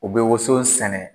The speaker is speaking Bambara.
U be woson sɛnɛ